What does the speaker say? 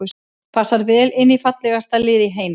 Passar vel inn í fallegasta lið í heimi.